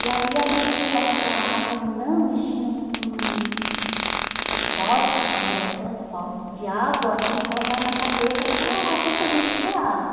E ali a gente pegava aquela água minando enchia um um uns pote que nós era os potes de água e colocava na cabeça para tentar a gente beber água.